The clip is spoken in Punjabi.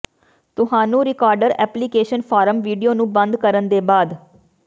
ਤੁਹਾਨੂੰ ਰਿਕਾਰਡਰ ਐਪਲੀਕੇਸ਼ਨ ਫਾਰਮ ਵੀਡੀਓ ਨੂੰ ਬੰਦ ਕਰਨ ਦੇ ਬਾਅਦ